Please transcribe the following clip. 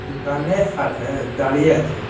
দোকানে হাল দাঁড়িয়ে আছে।